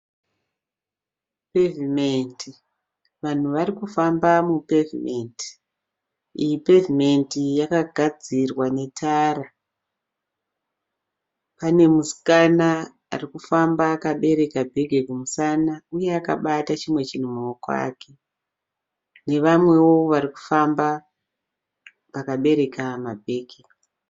Pevhimendi. Vanhu vari kufamba mupevhimendi. Iyi pevhimendi yakagadzirwa netara. Pane musikana ari kufamba akabereka bhegi kumusana uye akabata chimwe chinhu mumaoko ake nevamwewo vari kufamba vakabereka mabhegi.